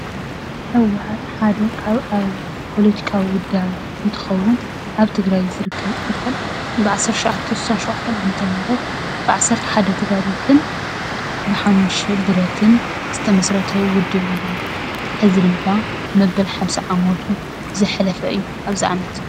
ህውሓት ሓደ ካብ ኣብ ፖለቲካዊ ውዳበ እንትኸውን ኣብ ትግረይ ዝርከብ እንትኾን ብዓሰርተ ትሸዓተ ስሳን ሸውዓቸን ዓ/ም ብዓሰርተ ሓደ ተጋደልትን ብሓሙሽተ ብረትን ዝተመስረተ ውድብ እዩ። እዚ ድማ መበል ሓምሳ ዓመቱ ዘሕለፈ እዩ ኣብዚ ዓመት፣